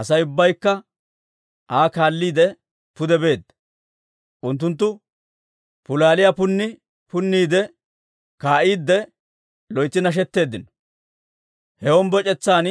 Asay ubbaykka Aa kaalliide pude beedda; unttunttu suusulliyaa punni punniide kaa'iidde loytsi nashetteeddino. He hombboc'etsan